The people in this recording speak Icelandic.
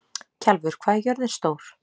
Kjalvör, hvað er jörðin stór?